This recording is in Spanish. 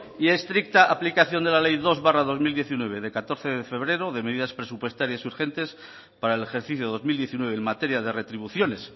y estricta de la ley dos barra dos mil diecinueve de catorce de febrero de medidas presupuestarias urgentes para el ejercicio de dos mil diecinueve en materia de retribuciones